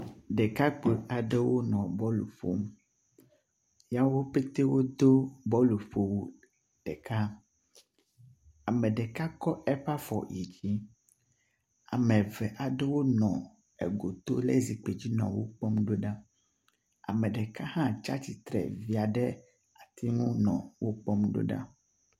Ɖekakpui aɖewo nɔ bɔlu ƒom. Ya wo pɛte wodo bɔluƒowu ɖeka. Ame ɖeka kɔ eƒe afɔ yi dzi. Ame eve aɖewo le egoto nɔ anyi ɖe zikpui dzi nɔ wo kpɔm ɖo ɖa. ame ɖeka aɖe hã tsi atsitre via ɖe atiŋu nɔ wo kpɔm ɖo ɖa.